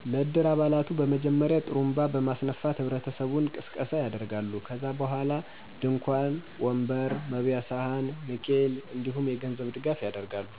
ለ እድር አባላቱ በመጀመሪያ ..ጥሩንባ በማስነፋት ህብረተሰቡን ቅስቀሳ ያደርጋሉ .ከዛ በኋላ ድንኳን፣ ወንበር፣ መበያ ሰሀን፣ ንኬል፣ እንዲሁም የገንዘብ ድጋፉ ያደርጋሉ።